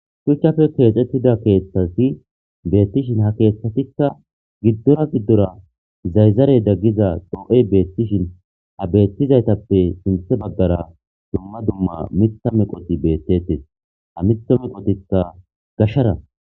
Shuchchafe keexettida keeththasi beettishin ha keeththatikka giddora giddora zayzarey daggiza doo7ey beettishin ha beettizaytappe sinthe baggara dumma dumma mitta meqoti beettetes ha mitha meqotikta gashara.